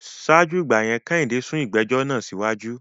Ṣáájú ìgbà yẹn, Kẹ́hìndé sún ìgbẹ́jọ́ náà síwájú